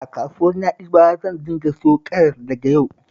A kasuwar Na'ibawa zan dinga siyo karas daga yau